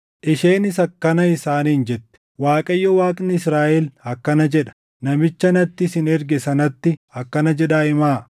Isheenis akkana isaaniin jette; “ Waaqayyo Waaqni Israaʼel akkana jedha: Namicha natti isin erge sanatti akkana jedhaa himaa.